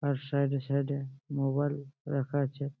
তার সাইডে সাইডে মোবাইল রাখা আছে।